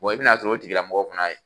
Wa I bɛ na sɔrɔ o tigi lamɔgɔ fana ye